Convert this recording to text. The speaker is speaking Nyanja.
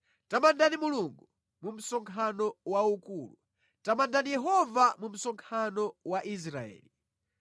Tamandani Mulungu mu msonkhano waukulu; tamandani Yehova mu msonkhano wa Israeli.